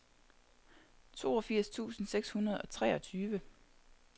toogfirs tusind seks hundrede og treogtyve